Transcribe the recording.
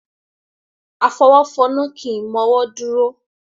Afọwọ́fọnná kì í mọ́wọ́ dúró.